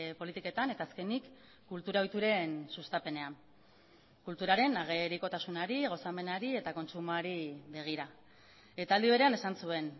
politiketan eta azkenik kultura ohituren sustapenean kulturaren agerikotasunari gozamenari eta kontsumoari begira eta aldi berean esan zuen